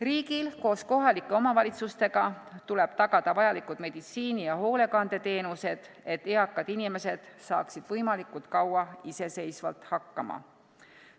Riigil koos kohalike omavalitsustega tuleb tagada vajalikud meditsiini- ja hoolekandeteenused, et eakad inimesed saaksid võimalikult kaua iseseisvalt hakkama.